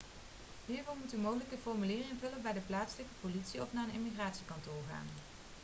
hiervoor moet u mogelijk een formulier invullen bij de plaatselijke politie of naar een immigratiekantoor gaan